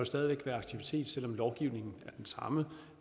stadig væk være aktivitet selv om lovgivningen er den samme